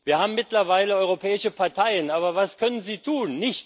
Wir haben mittlerweile europäische Parteien, aber was können sie tun?